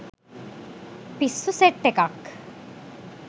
පිස්සු සෙට් එකක්.